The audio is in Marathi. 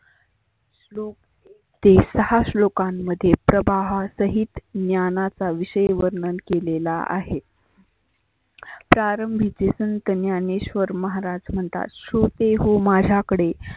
श्लोक एक ते सहा श्लोकांमध्ये प्रबाहा सहीत ज्ञानाचा विषय वर्णन केलेला आहे. प्रारंभीचे संत ज्ञानेश्वर महाराज म्हनतात तो ते हो माझ्याकडे